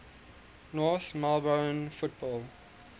north melbourne football